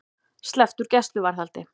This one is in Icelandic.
Sleppt úr gæsluvarðhaldi